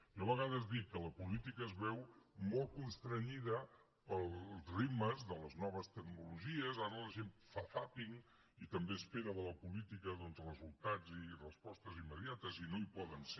jo a vegades dic que la política es veu molt constreta pels ritmes de les noves tecnologies ara la gent fa zàping i també espera de la política doncs resultats i respostes immediates i no hi poden ser